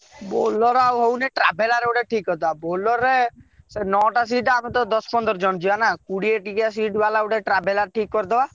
Bolero ଆଉ ହଉନି traveller ଗୋଟେ ଠିକ କରିଦବା ବୋଲେର ରେ ନଅ ସିଟ ଆମେ ଦଶ ପନ୍ଦର ଜଣ ଯିବା ନା କୋଡିଏ ଟିକିଆ ସିଟ ବାଲା ଗୋଟେ traveller ଠିକ କରିଦବ।